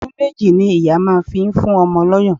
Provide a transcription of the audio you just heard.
Ọdún méjì ni ìyá máa fi ń fún ọmọ lọ́yàn